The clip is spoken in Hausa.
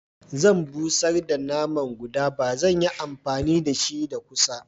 Zan bushar da naman guda ba zan yi amfani dashi da kusa.